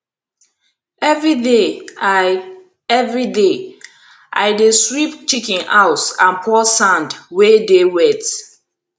everyday i everyday i dey sweep chicken house and pour sand wey dey wet